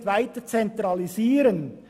] nicht weiter […